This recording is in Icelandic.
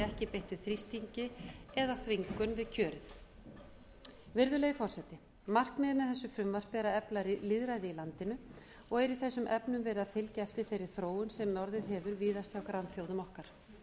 ekki beittur þrýstingi eða þvingun við kjörið virðulegi forseti markmiðið með þessu frumvarpi er að efla lýðræði í landinu og er í þessum efnum verið að fylgja eftir þeirri þróun sem orðið hefur víðast hjá grannþjóðum okkar